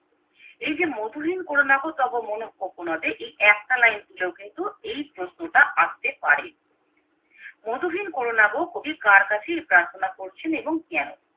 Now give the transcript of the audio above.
এই যে মধুহীন কর নাগো তবে মোর কোকোনোদে এই একটা লাইন তুলে কিন্তু এই প্রশ্নটা আস্তে পারে মধুহীন কোরোনাগো কবি কার কাছে এই প্রার্থনা করেছেন এবং কেন